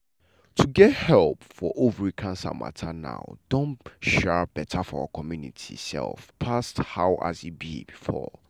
to get help for ovary cancer matter now don um better for our community um pass um as e be before.